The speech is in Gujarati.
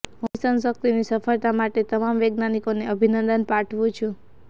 હું મિશન શક્તિની સફળતા માટે તમામ વૈજ્ઞાનિકોને અભિનંદન પાઠવું છું